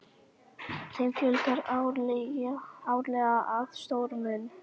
Þeim fjölgar árlega að stórum mun.